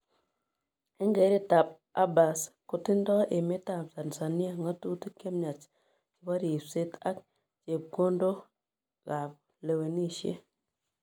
En keret ab Abbas, ko tindoi emet ab Tanzania ngatutik chemyach chebo ripset ab chepkondok ab lewenisiet